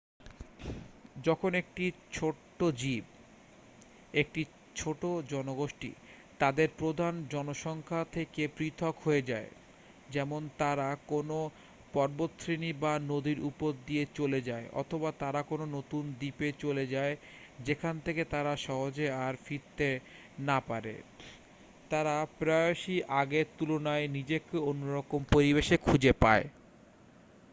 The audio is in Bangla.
যখন একটি ছোট্ট জীব একটি ছোট জনগোষ্ঠী তাদের প্রধান জনসংখ্যার থেকে পৃথক হয়ে যায় যেমন তারা কোনও পর্বতশ্রেণী বা নদীর উপর দিয়ে চলে যায় অথবা তারা কোনও নতুন দ্বীপে চলে যায় যেখান থেকে তারা সহজে আর ফিরতে না পারে তারা প্রায়শই আগের তুলনায় নিজেকে অন্যরকম পরিবেশে খুঁজে পায়।